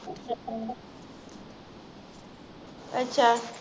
ਅੱਛਾ